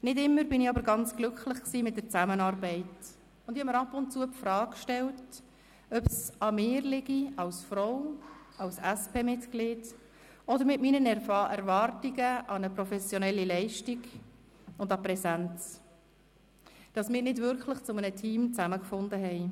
Nicht immer aber war ich ganz glücklich mit der Zusammenarbeit, und ich habe mir ab und zu die Frage gestellt, ob es an mir als Frau, als SPMitglied oder an meinen Erwartungen an eine professionelle Leistung und an der Präsenz liegt, dass wir nicht wirklich zu einem Team zusammengefunden haben.